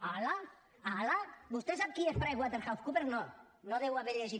hala hala vostè sap qui és pricewaterhousecoopers no no ho deu haver llegit